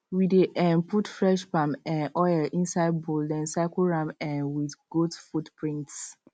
we dey um put fresh palm um oil inside bowl then circle am um with goat footprints